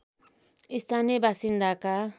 स्थानीय बासिन्दाका